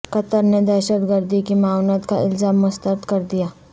قطر نے دہشت گردی کی معاونت کا الزام مسترد کر دیا